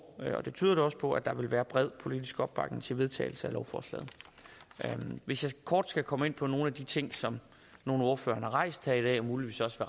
og det tyder det også på at der vil være bred politisk opbakning til vedtagelse af lovforslaget hvis jeg kort skal komme ind på nogle af de ting som nogle af ordførerne har rejst her i dag og muligvis også